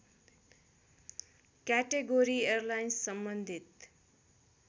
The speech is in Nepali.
क्याटेगोरी एयरलाइन्स सम्बन्धित